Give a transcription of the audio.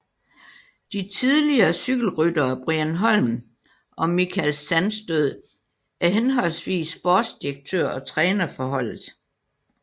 De tidligere cykelryttere Brian Holm og Michael Sandstød er henholdsvis sportsdirektør og træner for holdet